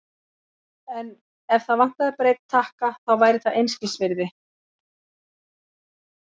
En ef það vantaði bara einn takka, þá væri það einskisvirði.